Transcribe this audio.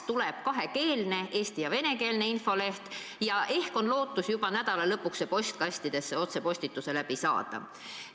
Tuleb kakskeelne, eesti- ja venekeelne infoleht ja ehk on lootus juba nädala lõpuks see otsepostitusega postkastidesse saata.